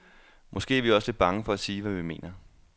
Måske er vi også lidt bange for at sige, hvad vi mener.